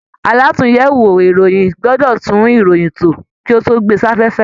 Àlatúnyẹwò ìròyìn gbọdọ tún ìròyìn tó, kí a tó gbé safẹ́fẹ́.